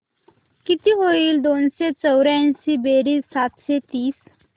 किती होईल दोनशे चौर्याऐंशी बेरीज सातशे तीस